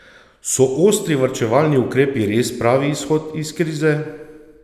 So ostri varčevalni ukrepi res pravi izhod iz krize?